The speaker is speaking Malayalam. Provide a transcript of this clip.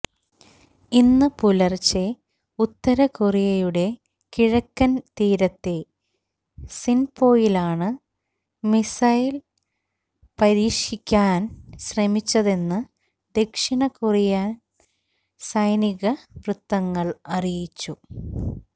ഇന്ന് പുലര്ച്ചെ ഉത്തര കൊറിയയുടെ കിഴക്കന് തീരത്തെ സിന്പോയിലാണ് മിസൈല് പരീക്ഷിക്കാന് ശ്രമിച്ചതെന്ന് ദക്ഷിണ കൊറിയന് സൈനിക വൃത്തങ്ങള് അറിയിച്ചു